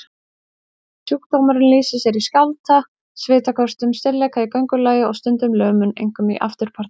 Sjúkdómurinn lýsir sér í skjálfta, svitaköstum, stirðleika í göngulagi og stundum lömun, einkum í afturparti.